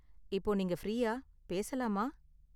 இப்போ நீங்க ஃப்ரீயா, பேசலாமா?